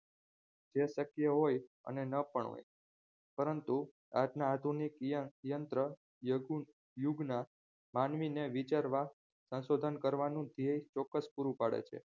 શક્ય હોય અને ન પણ હોય પરંતુ આજના આધુનિક યંત્ર યતી યુગના માનવીને વિચારવા સંશોધન કરવાનું ધ્યે ચોક્કસ પૂરું પાડે છે